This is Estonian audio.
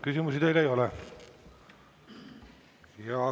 Küsimusi teile ei ole.